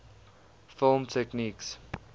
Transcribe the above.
film techniques